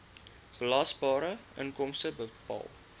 belasbare inkomste bepaal